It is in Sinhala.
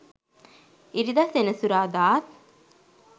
ඉරිද සෙනසුරාදාත්